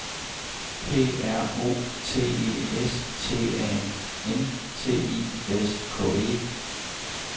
P R O T E S T A N T I S K E